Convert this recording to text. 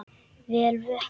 Vel vöknuð!